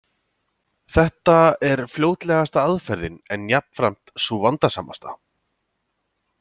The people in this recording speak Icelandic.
Þetta er fljótlegasta aðferðin, en jafnframt sú vandasamasta.